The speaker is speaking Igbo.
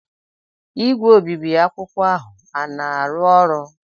igwe obibi akwụkwọ ahụ a na-arụ ọrụ?